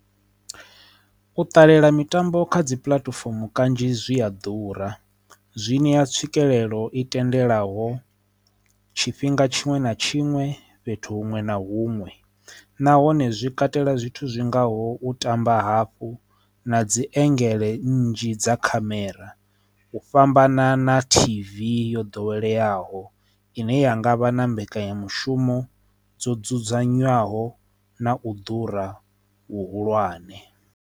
U ṱalela mitambo kha dzi puḽatifomo kanzhi zwi a ḓura zwi ṋea tswikelelo i tendelaho tshifhinga tshiṅwe na tshiṅwe fhethu huṅwe na huṅwe nahone zwi katela zwithu zwingaho u tamba hafhu na dzi engedzele nnzhi dza khamera u fhambana na tv yo ḓoweleaho ine ya ngavha na mbekanyamushumo dzo dzudzanywaho na u ḓura hu hulwane.